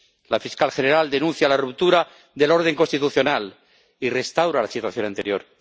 La fiscal general denuncia la ruptura del orden constitucional y restaura la situación anterior.